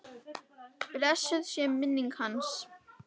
Blessuð sé minning hans.